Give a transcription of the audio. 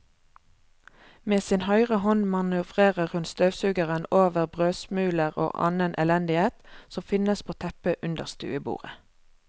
Med sin høyre hånd manøvrerer hun støvsugeren over brødsmuler og annen elendighet som finnes på teppet under stuebordet.